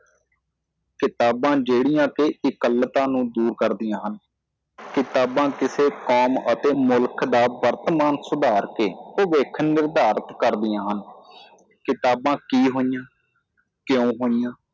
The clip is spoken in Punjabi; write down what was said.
ਕਿਤਾਬਾਂ ਜਿਹੜੀਆਂ ਕੇ ਇਕੱਲਤਾ ਨੂੰ ਦੂਰ ਕਰਦਿਆਂ ਹਨ ਕਿਤਾਬਾਂ ਕਿਸੇ ਕੌਮ ਅਤੇ ਮੁਲਕ ਦਾ ਵਰਤਮਾਨ ਸੁਧਾਰ ਕੇ ਭਵਿੱਖ ਨਿਰਧਾਰਤ ਕਰਦਿਆਂ ਹਨ ਕਿਤਾਬਾਂ ਕੀ ਹੋਈਆਂ ਕਿਉਂ ਹੋਈਆਂ